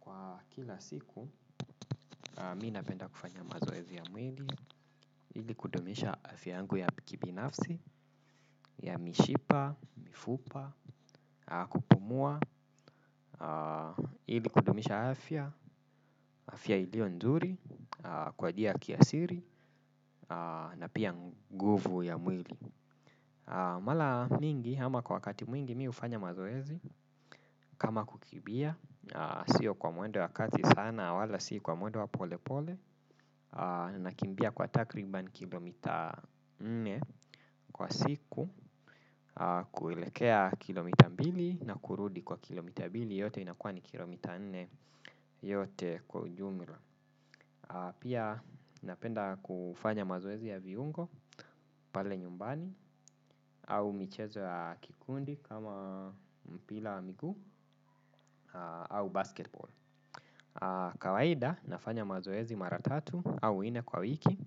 Kwa kila siku, mi napenda kufanya mazoezi ya mwili, ili kudumisha afya yangu ya kibinafsi, ya mishipa, mifupa, kupumua, ili kudumisha afya, afya iliyo nzuri, kwa njia ya kiasili, na pia nguvu ya mwili. Mara mingi ama kwa wakati mwingi mi hufanya mazoezi. Kama kukimbia sio kwa mwendo ya kasi sana. Wala si kwa mwendo wa polepole. Nakimbia kwa takriban kilomita nne kwa siku. Kuelekea kilomita mbili na kurudi kwa kilomita mbili yote inakuwa ni kilomita nne yote kwa ujumila. Pia napenda kufanya mazoezi ya viungo. Pale nyumbani au michezo ya kikundi kama mpira wa migue au basketball kawaida nafanya mazoezi mara tatu au nne kwa wiki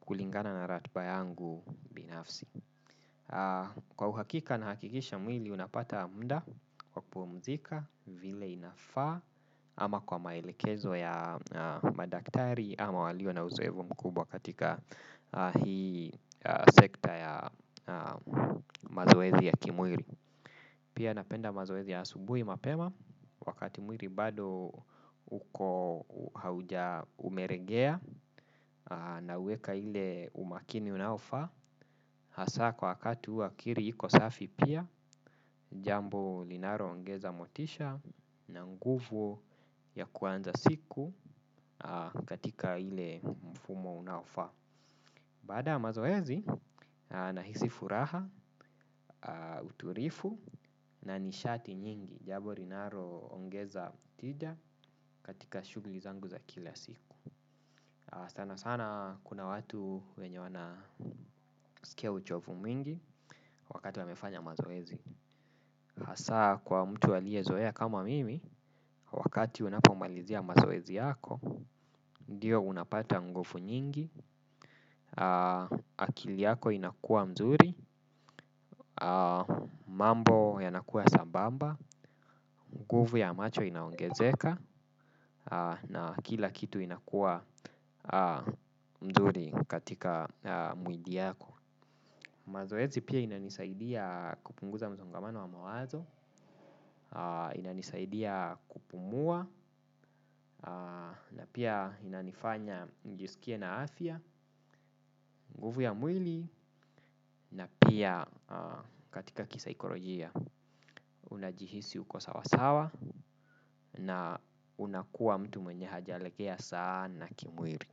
kulingana na ratiba yangu binafsi kwa uhakika nahakikisha mwili unapata muda kwa kupumzika vile inafaa ama kwa maelekezo ya madaktari ama walio na uzoefu mkubwa katika hii sekta ya mazoezi ya kimwili. Pia napenda mazoezi ya asubuhi mapema, wakati mwili bado uko hauja umeregea na uweka ile umakini unaofaa, hasa kwa wakati huwa akili iko safi pia, jambo linaloongeza motisha na nguvu ya kuanza siku katika ile mfumo unaofaa. Baada ya mazoezi, nahisi furaha, utulivu, na nishati nyingi jambo linalo ongeza tija katika shughuli zangu za kila siku. Sana sana kuna watu wenye wana skia uchovu mingi wakati wamefanya mazoezi. Hasa kwa mtu aliye zoea kama mimi, wakati unapomalizia mazoezi yako, ndiyo unapata nguvu nyingi, akili yako inakua nzuri, mambo yanakuwa sambamba, nguvu ya macho inaongezeka na kila kitu inakuwa nzuri katika mwili yako. Mazoezi pia inanisaidia kupunguza msongamano wa mawazo, inanisaidia kupumua, na pia inanifanya nijisikie na afya, nguvu ya mwili, na pia katika kisaikolojia unajihisi uko sawasawa na unakuwa mtu mwenye hajalegea sana kimwili,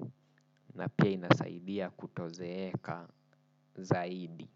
na pia inasaidia kutozeeka zaidi.